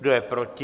Kdo je proti?